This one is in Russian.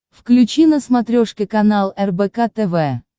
включи на смотрешке канал рбк тв